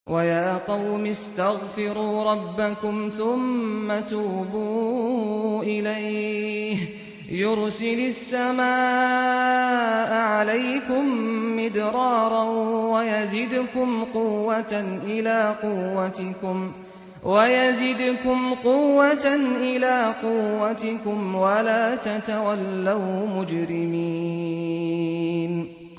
وَيَا قَوْمِ اسْتَغْفِرُوا رَبَّكُمْ ثُمَّ تُوبُوا إِلَيْهِ يُرْسِلِ السَّمَاءَ عَلَيْكُم مِّدْرَارًا وَيَزِدْكُمْ قُوَّةً إِلَىٰ قُوَّتِكُمْ وَلَا تَتَوَلَّوْا مُجْرِمِينَ